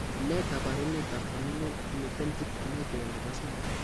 Ne kaabarunetap Familial Hemiplegic Migraine ne po 3?